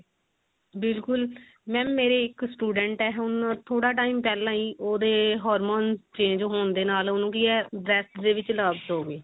ਬਿਲਕੁਲ mam ਮੇਰੀ ਇੱਕ student ਹੈ ਹੁਣ ਥੋੜਾ time ਪਹਿਲਾਂ ਹੀ ਉਹਦੇ hormones change ਹੋਣ ਦੇ ਨਾਲ ਉਹਨੂੰ ਕੀ ਹੈ breast ਦੇ ਵਿੱਚ lobes ਹੋ ਗਏ